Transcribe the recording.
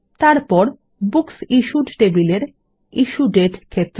তারপর বুকসিশ্যুড টেবিলের ইশ্যু দাতে ক্ষেত্র